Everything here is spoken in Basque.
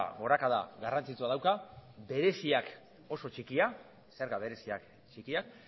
gorakada garrantzitsua dauka bereziak oso txikia zerga bereziak txikiak